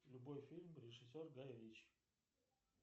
любой фильм режиссер гай ричи